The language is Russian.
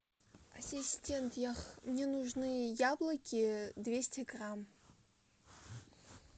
ассистент мне нужны яблоки двести грамм